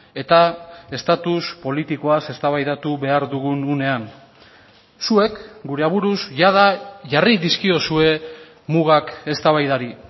eta estatus politikoaz eztabaidatu behar dugun unean zuek gure aburuz jada jarri dizkiozue mugak eztabaidari